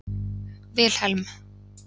Vilhelm